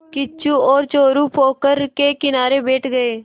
किच्चू और चोरु पोखर के किनारे बैठ गए